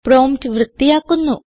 prompt വൃത്തിയാക്കുന്നു